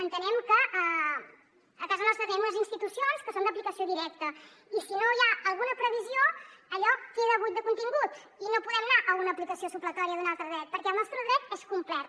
entenem que a casa nostra tenim unes institucions que són d’aplicació directa i si no hi ha alguna previsió allò queda buit de contingut i no podem anar a una aplicació supletòria d’un altre dret perquè el nostre dret és complet